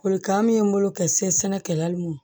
Folikan min ye n bolo ka se sɛnɛ kɛlaw ma